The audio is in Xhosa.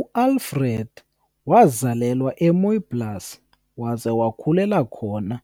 UAlfred wazalelwa eMooiplaas waze wakhulela khona